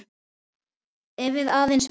Ef við aðeins vissum.